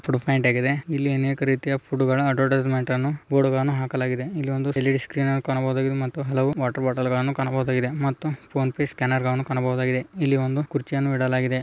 Food point ಆಗಿದೆ ಇಲ್ಲಿ ಅನೇಕ ರೀತಿಯ ಫುಡ್‌ ಗಳ ಅಡ್ವರ್ಟೈಸ್ಮೆಂಟ್ ಅನ್ನು ಬೋರ್ಡ್ ಗಳನ್ನು ಹಾಕಲಾಗಿದೆ ಇಲ್ಲಿ ಒಂದು ಎಲ್_ಇ_ಡಿ ಸ್ಕ್ರೀನ್ ಅನ್ನು ಕಾಣಬಹುದು ಮತ್ತು ಹಲವು ವಾಟರ್‌ ಬಾಟಲ್‌ ಗಳನ್ನು ಕಾಣಬಹುದಾಗಿದೆ ಮತ್ತು ಫೋನ್ ಪೇ ಸ್ಕ್ಯಾನರ್ ಗಳನ್ನು ಕಾಣಬಹುದಾಗಿದೆ ಇಲ್ಲಿ ಒಂದು ಕುರ್ಚಿಯನ್ನು ಇಡಲಾಗಿದೆ.